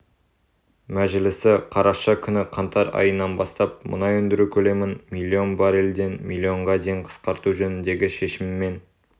мәжілісі қараша күні қаңтар айынан бастап мұнай өндіру көлемін миллион баррельден миллионға дейін қысқарту жөніндегі шешіммен